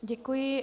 Děkuji.